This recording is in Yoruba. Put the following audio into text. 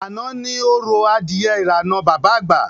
Àná ni orò adìye irànà Bàbá Àgbà